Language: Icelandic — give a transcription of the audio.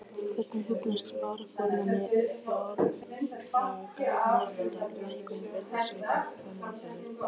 Hvernig hugnast varaformanni fjárlaganefndar lækkun virðisauka á matvæli?